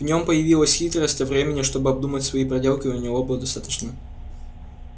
в нём появилась хитрость а времени чтобы обдумать свои проделки у него было достаточно